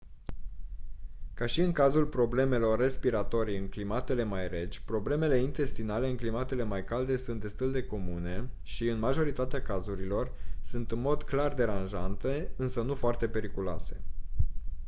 ca și în cazul problemelor respiratorii în climatele mai reci problemele intestinale în climatele mai calde sunt destul de comune și în majoritatea cazurilor sunt în mod clar deranjante însă nu foarte periculoase